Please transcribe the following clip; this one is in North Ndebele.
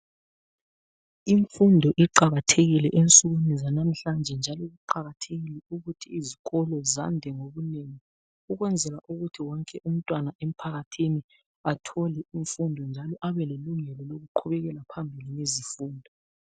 Imfundo iqakathekile ensukwini zanamhlanje njalo kuqakathekile ukuthi izikolo zande ngobunengi ukwenzela ukuthi wonke umntwana emphakathini athole imfundo njalo abe lelungelo lokuqhubekela phambili ngezifundo.